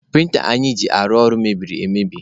Prịnta anyị ji arụ ọrụ mebiri emebi.